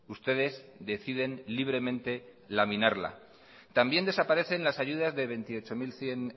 ustedes deciden libremente laminarla también desaparecen las ayudas de veintiocho mil cien